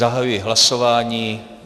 Zahajuji hlasování.